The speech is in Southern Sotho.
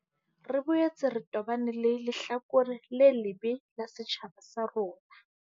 Re boetse re tobane le lehlakore le lebe la setjhaba sa rona.